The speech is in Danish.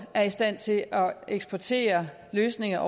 er i stand til at eksportere løsninger